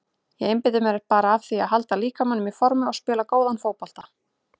Ég einbeiti mér bara að því að halda líkamanum í formi og spila góðan fótbolta.